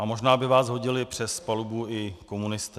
A možná by vás hodili přes palubu i komunisté.